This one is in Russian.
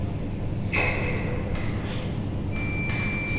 лично я этого не понимаю